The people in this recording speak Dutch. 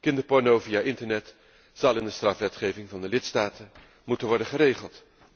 Kinderporno via internet zal in het strafrecht van de lidstaten moeten worden geregeld.